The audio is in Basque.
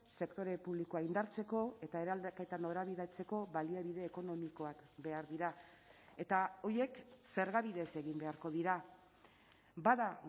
sektore publikoa indartzeko eta eraldaketa norabidetzeko baliabide ekonomikoak behar dira eta horiek zerga bidez egin beharko dira bada